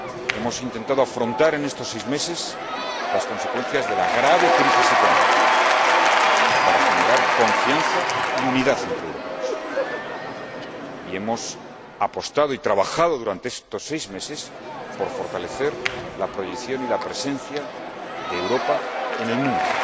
Hemos intentado afrontar en estos seis meses las consecuencias de la grave crisis económica, para generar confianza y unidad entre europeos, y hemos apostado y trabajado, durante estos seis meses, por fortalecer la proyección y la presencia de Europa en el mundo,